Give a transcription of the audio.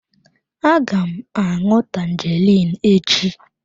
Aga m aṅụ tangerine echi.